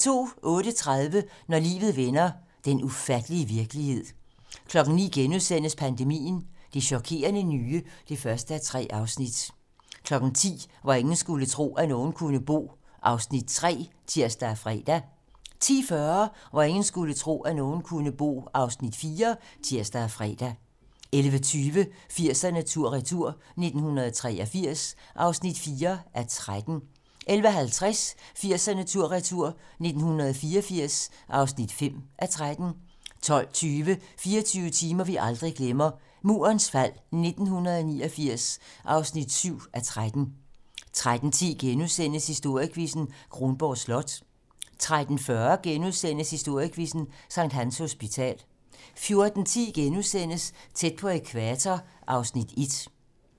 08:30: Når livet vender - den ufattelige virkelighed 09:00: Pandemien - Det chokerende nye (1:3)* 10:00: Hvor ingen skulle tro, at nogen kunne bo (Afs. 3)(tir og fre) 10:40: Hvor ingen skulle tro, at nogen kunne bo (Afs. 4)(tir og fre) 11:20: 80'erne tur/retur: 1983 (4:13) 11:50: 80'erne tur/retur: 1984 (5:13) 12:20: 24 timer, vi aldrig glemmer: Murens fald 1989 (7:13) 13:10: Historiequizzen: Kronborg Slot * 13:40: Historiequizzen: Sct. Hans Hospital * 14:10: Tæt på ækvator (Afs. 1)*